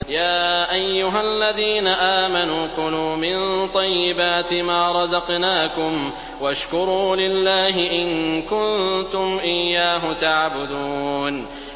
يَا أَيُّهَا الَّذِينَ آمَنُوا كُلُوا مِن طَيِّبَاتِ مَا رَزَقْنَاكُمْ وَاشْكُرُوا لِلَّهِ إِن كُنتُمْ إِيَّاهُ تَعْبُدُونَ